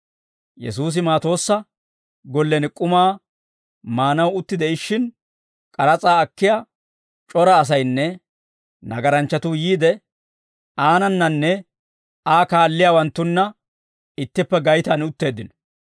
Yesuusi Maatoossa gollen k'umaa maanaw utti de'ishshin, k'aras'aa akkiyaa c'ora asaynne nagaranchchatuu yiide, aanananne Aa kaalliyaawanttunna ittippe gaytaan utteeddino.